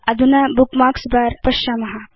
अधुना bookmarks bar पश्याम